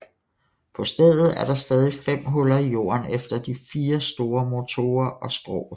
På stedet er der stadig fem huller i jorden efter de fire store motorer og skroget